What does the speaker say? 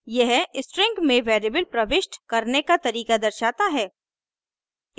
यह स्ट्रिंग में वेरिएबल प्रविष्ट करने का तरीका दर्शाता है